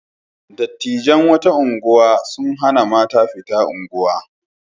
Dattijan wata unguwa sun hana mata fita unguwa.